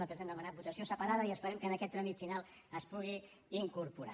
nosaltres n’hem demanat votació separada i esperem que en aquest tràmit final s’hi pugui incorporar